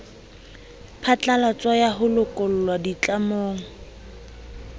phatlalatso ya ho lokollwa ditlamong